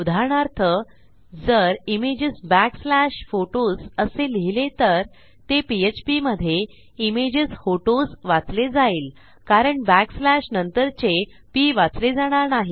उदाहरणार्थ जर images back slash photos असे लिहिले तर ते पीएचपी मधे images होतोस वाचले जाईल कारण back slashनंतरचे पी वाचले जाणार नाही